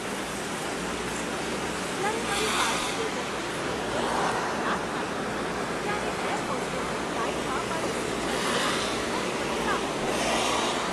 જ્યારે મારી પાછળની વ્યક્તિ સીટ પર સતત લાત મારતી હતી ત્યારે એર હોસ્ટેસે ફ્લાઇટમાં મારી સીટ બદલી આપી અને મને રાહત થઈ.